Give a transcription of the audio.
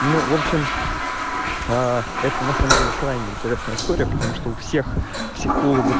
ну в общем а это на самом деле крайне интересная история потому что у всех психологов